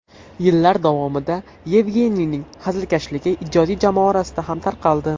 Yillar davomida Yevgeniyning hazilkashligi ijodiy jamoa orasida ham tarqaldi.